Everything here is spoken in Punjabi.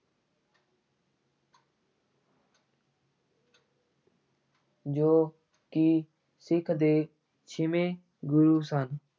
ਜੋ ਕਿ ਸਿੱਖ ਦੇ ਛੇਵੇਂ ਗੁਰੂ ਸਨ।